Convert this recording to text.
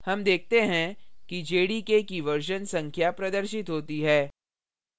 हम देखते हैं कि jdk की version संख्या प्रदर्शित होती है